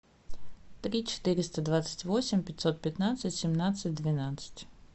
три четыреста двадцать восемь пятьсот пятнадцать семнадцать двенадцать